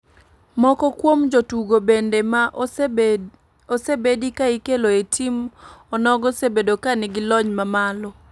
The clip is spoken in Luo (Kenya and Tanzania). Moko kuom jotugo bende ma osebedi ka ikelo e tim onogo osebedo ka ni gi lony mamalo.